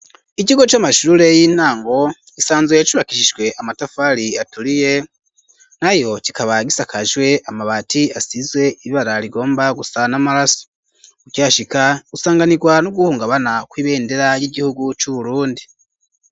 Ikigo c'amashure y'intango isanzwe yacubakisijwe amatafari aturiye, nayo kikaba gisakajwe amabati asizwe ibara rigomba gusa n' amaraso, ukihashika usanganirwa n'uguhungabana kw'ibendera ry'igihugu c'Uburundi.